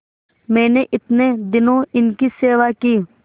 मैंने इतने दिनों इनकी सेवा की